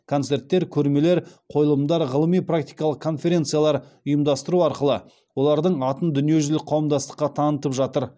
ұйымдастыру арқылы олардың атын дүниежүзілік қауымдастыққа танытып жатыр